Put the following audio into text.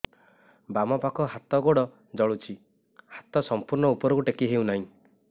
ବାମପାଖ ହାତ ଗୋଡ଼ ଜଳୁଛି ହାତ ସଂପୂର୍ଣ୍ଣ ଉପରକୁ ଟେକି ହେଉନାହିଁ